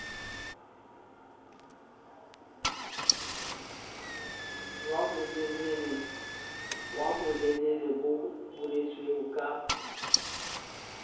wa bolelele bo boletsweng ka